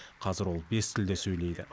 қазір ол бес тілде сөйлейді